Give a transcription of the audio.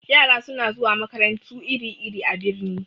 Yara suna zuwa makarantu iri-iri a birni.